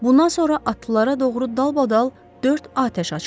Bundan sonra atlılara doğru dalbadal dörd atəş açıldı.